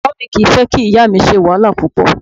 Bàbá mi kì í fẹ́ kí ìyá mi ṣe wàhálà púpọ̀